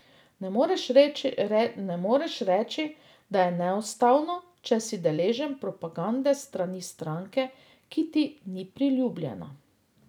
Ne moreš reči, da je neustavno, če si deležen propagande s strani stranke, ki ti ni priljubljena.